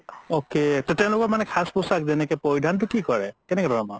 okay তে তেওলোকৰ মানে সাজ পোচাক যনেকে পৰিধানতো কি কৰে